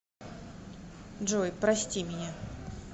джой прости меня